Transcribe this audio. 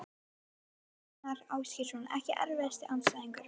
Ásgeir Gunnar Ásgeirsson EKKI erfiðasti andstæðingur?